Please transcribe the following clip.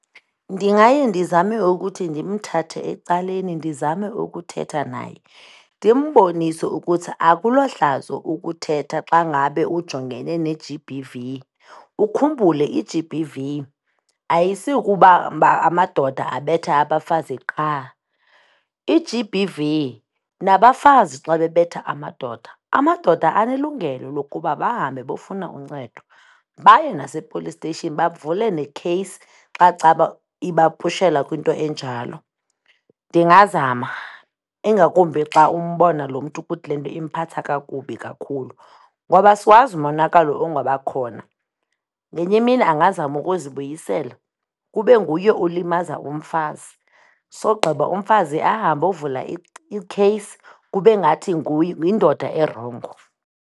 Ndingaye ndizame ukuthi ndimthathe ecaleni ndizame ukuthetha naye, ndimbonise ukuthi akulohlazo ukuthetha xa ngabe ujongene ne-G_B_V. Ukhumbule i-G_B_V ayisukuba amadoda abetha abafazi qha, i-G_B_V nabafazi xa bebetha amadoda, amadoda anelungelo lokuba bahambe bofuna uncedo, baye nase-police station bavule nekheyisi xa caba ibapushela kwinto enjalo. Ndingazama, ingakumbi xa umbona loo mntu ukuthi le nto imphatha kakubi kakhulu, ngoba asiwazi umonakalo ongabakhona. Ngenye imini angazama ukuzibuyisela kube nguye olimaza umfazi sogqiba umfazi ahambe ayovula ikheyisi, kube ngathi yindoda erongo.